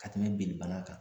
Ka tɛmɛ binnibana kan